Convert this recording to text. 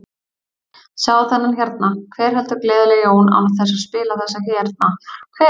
Sjáðu þennan hérna, hver heldur gleðileg jól án þess að spila þessa hérna, hver?